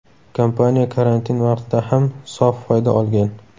Kompaniya karantin vaqtida ham sof foyda olgan.